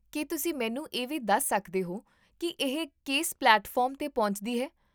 ਕੀ ਤੁਸੀਂ ਮੈਨੂੰ ਇਹ ਵੀ ਦੱਸ ਸਕਦੇ ਹੋ ਕਿ ਇਹ ਕਿਸ ਪਲੇਟਫਾਰਮ 'ਤੇ ਪਹੁੰਚਦੀ ਹੈ?